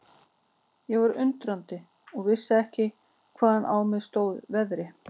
Ég var undrandi og vissi ekki hvaðan á mig stóð veðrið.